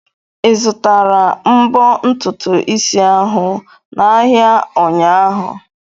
Ị zụtara mbo ntutu isi ahụ n'ahịa ụnyaahụ?